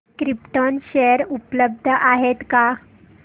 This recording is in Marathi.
क्रिप्टॉन शेअर उपलब्ध आहेत का